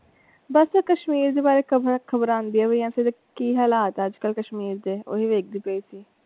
ਬਸ ਕਸ਼ਮੀਰ ਦੇ ਬਾਰੇ ਖਬਰਾਂ ਆਉਂਦੀਆਂ ਪਈਆਂ ਸੀ ਤੇ ਕੀ ਹਾਲਾਤ ਹੈ ਅੱਜਕਲ ਕਸ਼ਮੀਰ ਦੇ ਓਹੀ ਵੇਖਦੀ ਪਈ ਸੀ।